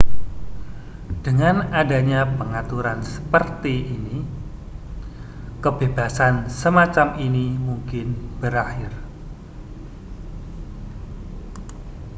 dengan adanya pengaturan seperti ini kebebasan semacam ini mungkin berakhir